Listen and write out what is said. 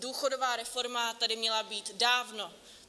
Důchodová reforma tady měla být dávno.